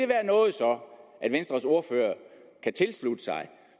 være noget som venstres ordfører kan tilslutte sig